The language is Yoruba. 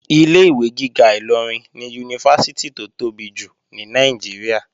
Ilé-ìwé gíga Ìlọrin ni Yunifásítì tó tóbi jù ní Nàìjíríà